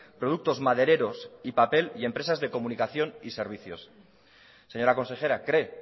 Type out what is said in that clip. productos madereros y papel y empresas de comunicación y servicios señora consejera cree